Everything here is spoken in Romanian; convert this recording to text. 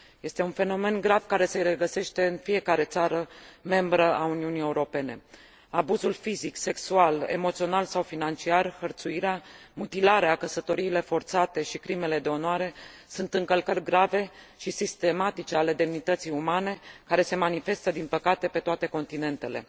Este un fenomen grav care se regăsește în fiecare țară membră a Uniunii Europene. Abuzul fizic, sexual, emoțional sau financiar, hărțuirea, mutilarea, căsătoriile forțate și crimele de onoare, sunt încălcări grave și sistematice ale demnității umane, care se manifestă din păcate pe toate continentele.